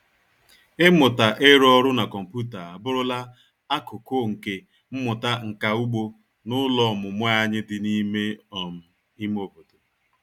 Ịmụta ịrụ ọrụ na kọmputa abụrụla akụkụ nke mmụta nka ugbo n'ụlọ ọmụmụ anyị dị n'ime um ime obodo.